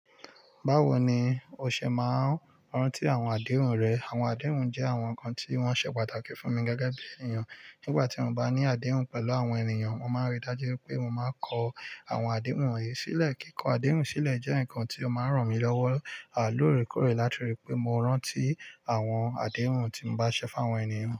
Báwo ni o ṣe máa ń rántí àwọn àdéhùn rẹ? Àwọn àdéhùn jẹ́ àwọn nǹkan tí wọ́n ṣe pàtàkì fún mi gẹ́gẹ́ bí ènìyàn. Nígbà tí mo bá ní àdéhùn pẹ̀lú àwọn ènìyàn, mo máa ríi dájú pé mo máa kọ àwọn àdéhùn wọ̀nyí sílẹ̀. Kíkọ àdéhùn sílẹ̀ jẹ́ nǹkan tí ó máa ń ràn mí lọ́wọ́ à lorekore, láti rí i pé mo rántí àwọn àdéhùn tí n bá ṣe fún àwọn ènìyàn.